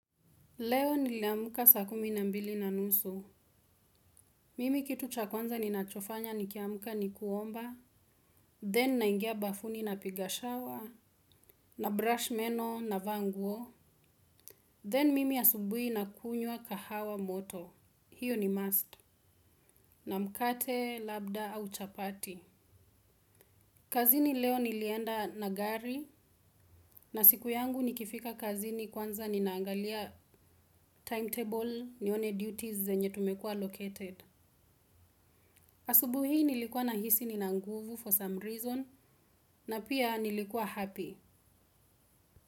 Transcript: Leo niliamka saa kumi na mbili na nusu. Mimi kitu cha kwanza ninachofanya nikiamka ni kuomba. Then naingia bafuni napiga shawa. Na brush meno navaa nguo. Then mimi asubui nakunyua kahawa moto. Hiyo ni must. Na mkate, labda au chapati. Kazini leo nilienda na gari. Na siku yangu nikifika kazini kwanza ninaangalia timetable nione duties zenye tumekuwa allocated. Asubuhi hii nilikuwa nahisi nina nguvu for some reason na pia nilikuwa happy.